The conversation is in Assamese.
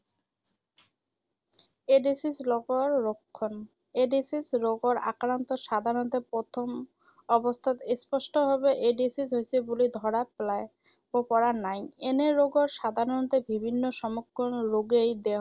এইড্‌ছ ৰোগৰ লক্ষণ। এইড্‌ছ আক্ৰান্ত ৰোগৰ সাধাৰণতে প্ৰথম অৱস্থাত স্পষ্ট ভাৱে এইড্‌ছ হৈছে বুলি ধৰা পেলায়, পেলাব পৰা নাই৷ এনে ৰোগৰ সাধাৰণতে বিভিন্ন সমগ্ৰ ৰোগেই